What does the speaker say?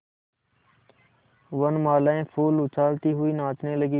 वनबालाएँ फूल उछालती हुई नाचने लगी